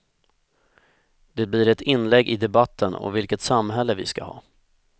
Det blir ett inlägg i debatten om vilket samhälle vi ska ha.